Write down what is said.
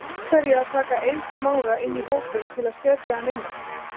Af hverju að taka Eið Smára inn í hópinn til að setja hann inn á?